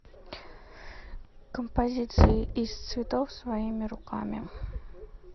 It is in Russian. композиция из цветов своими руками